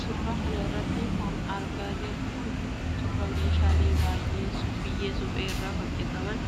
Suura kana irratti kan argaa jirru kun ,suura meeshaalee biyyee suphee irraa hojjataman